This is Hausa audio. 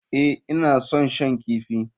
Ee, ina son shan kifi.